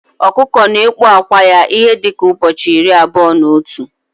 Ọkụkọ na ekpu ákwà ya ihe dika ụbọchị irí abụọ na otu